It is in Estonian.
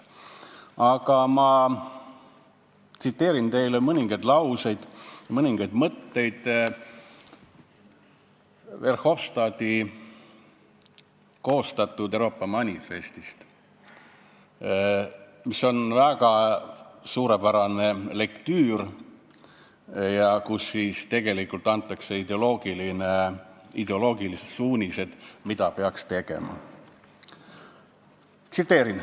Aga ma tsiteerin teile mõningaid lauseid, mõningaid mõtteid Verhofstadti koostatud Euroopa manifestist, mis on väga suurepärane lektüür ja kus tegelikult antakse ideoloogilised suunised, mida peaks tegema.